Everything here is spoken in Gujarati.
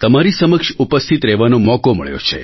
તમારી સમક્ષ ઉપસ્થિત રહેવાનો મોકો મળ્યો છે